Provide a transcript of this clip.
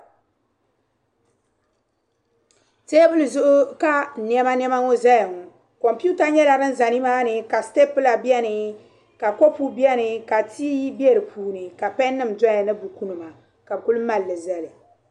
Teebuli zuɣu ka nɛmanɛma ŋɔ zaya ŋɔ. Kɔmputa nyɛla din za nimaani ka sitipula beni ka kopu beni ka tii be di puuni ka pɛnnima dɔya ni bukunima ka bɛ ku maali zali.